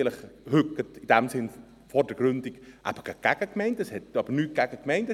Ich bin hier vordergründig vielleicht gegen die Gemeinden, es geht aber nicht gegen die Gemeinden.